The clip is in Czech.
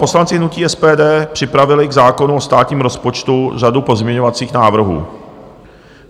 Poslanci hnutí SPD připravili k zákonu o státním rozpočtu řadu pozměňovacích návrhů.